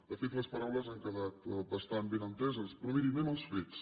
de fet les paraules han quedat bastant ben enteses però miri anem als fets